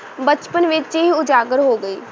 ਬਚਪਨ ਵਿੱਚ ਹੀ ਉਜਾਗਰ ਹੋ ਗਈ।